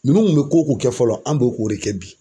Ninnu kun bɛ ko ko kɛ fɔlɔ an b'o k'o de kɛ bi.